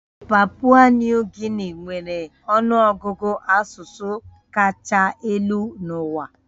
Papua Nuu Gini nwere ọnụ ọgụgụ asụsụ kacha elu n'ụwa